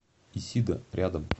исида рядом